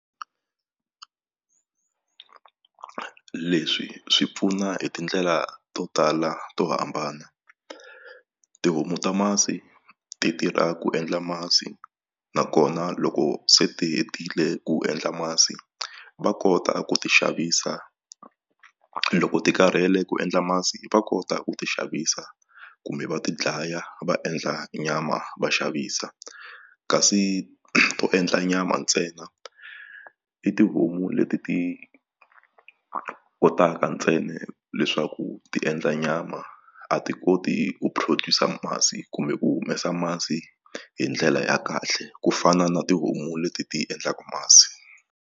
Leswi swi pfuna hi tindlela to tala to hambana tihomu ta masi ti tirha ku endla masi nakona loko se ti hetile ku endla masi va kota ku ti xavisa loko ti karhele ku endla masi va kota ku ti xavisa kumbe va ti dlaya va endla nyama va xavisa kasi to endla nyama ntsena i tihomu leti ti kotaka ntsena leswaku ti endla nyama a ti koti ku produce masi kumbe ku humesa masi hi ndlela ya kahle ku fana na tihomu leti ti endlaka masi.